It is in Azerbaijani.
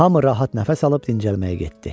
Hamı rahat nəfəs alıb dincəlməyə getdi.